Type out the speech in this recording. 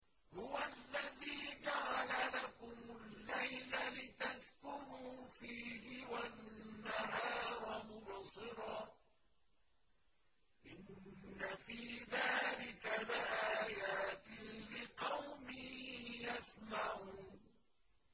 هُوَ الَّذِي جَعَلَ لَكُمُ اللَّيْلَ لِتَسْكُنُوا فِيهِ وَالنَّهَارَ مُبْصِرًا ۚ إِنَّ فِي ذَٰلِكَ لَآيَاتٍ لِّقَوْمٍ يَسْمَعُونَ